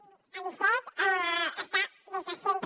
i l’icec està des de sempre